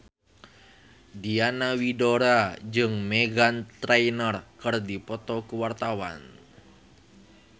Diana Widoera jeung Meghan Trainor keur dipoto ku wartawan